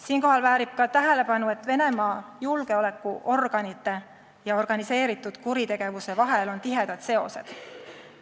Siinkohal väärib tähelepanu, et Venemaa julgeolekuorganite ja organiseeritud kuritegevuse vahel on tihedaid seoseid.